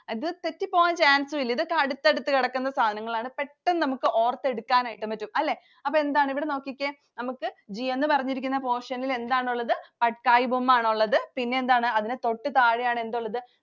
അത് തെറ്റി പോകാൻ chance ഇല്ല. ഇതൊക്കെ അടുത്തടുത്തു കിടക്കുന്ന സാധനങ്ങളാണ്. പെട്ടെന്ന് നമുക്ക് ഓർത്തെടുക്കാനായിട്ട് പറ്റും. അല്ലെ? അപ്പൊ എന്താണ്? ഇവിടെ നോക്കിക്കേ. നമുക്ക് G എന്ന് പറഞ്ഞിരിക്കുന്ന portion ൽ എന്താണുള്ളത്? Patkai Boom ആണുള്ളത്. പിന്നെന്താണ്? അതിനു തൊട്ടു താഴെയാണ് എന്തുള്ളത്?